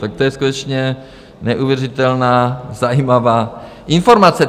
Tak to je skutečně neuvěřitelná, zajímavá informace.